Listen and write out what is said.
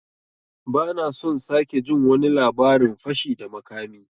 Ban son sake jin wani labarin fashi da makami!